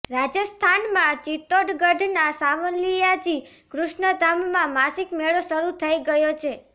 રાજસ્થાનમાં ચિત્તોડગઢના સાંવલિયાજી કૃષ્ણધામમાં માસિક મેળો શરૂ થઇ ગયો છે